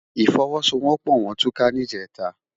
Ifòwòsówòpò wòn túká nijètá